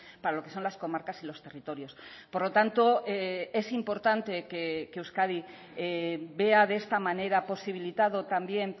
para lo que son las comarcas y los territorios por lo tanto es importante que euskadi vea de esta manera posibilitado también